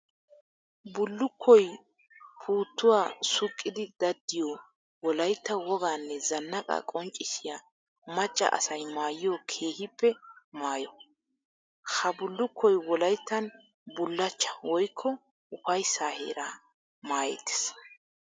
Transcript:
Bullukkoy puutuwa suuqiddi daddiyo wolaytta woganne zanaqa qonccissiya maca asay maayiyo keehippe maayo. Ha bullukkoy wolayttan bulachcha woykko ufayssa heera maayettes.